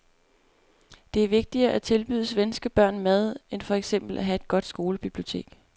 Det er vigtigere at tilbyde svenske børn mad end for eksempel at have et godt skolebibliotek.